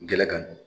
Gɛlɛn kan